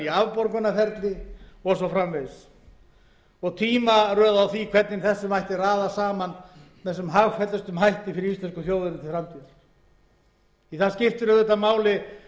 í afborgunarferli og svo framvegis og tímaröð á hvernig raða megi þessu saman með sem hagfelldustum hætti fyrir íslensku þjóðina til framtíðar því eins og hæstvirtur forsætisráðherra sagði þá skiptir auðvitað máli